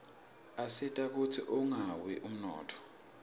asita kutsi ungawi umnotfo